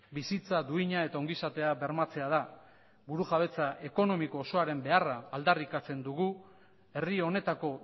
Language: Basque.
bizitza duina eta ongizatea bermatzea da burujabetza ekonomiko osoaren beharra aldarrikatzen dugu herri honetako